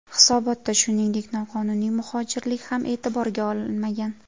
Hisobotda, shuningdek, noqonuniy muhojirlik ham e’tiborga olinmagan.